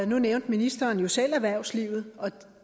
nu nævnte ministeren jo selv erhvervslivet og